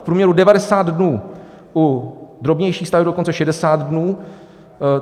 V průměru 90 dnů, u drobnějších staveb dokonce 60 dnů.